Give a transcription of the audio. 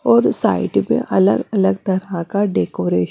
और साइड पे अलग अलग तरह का डेकोरे--